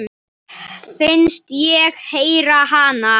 Finnst ég heyra hana.